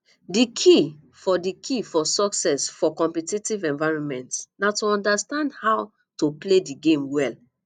di key for di key for success for competitive environments na to understand how to play di game well